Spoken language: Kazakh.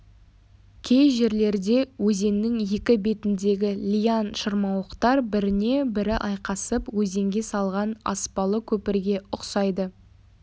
кей жерлерде өзеннің екі бетіндегі лиан-шырмауықтар біріне бірі айқасып өзенге салған аспалы көпірге ұқсайды